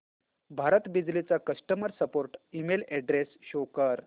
भारत बिजली चा customer support email address show कर